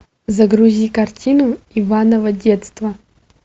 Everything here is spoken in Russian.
загрузи картину иваново детство